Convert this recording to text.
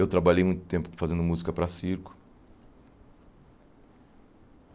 Eu trabalhei muito tempo fazendo música para circo.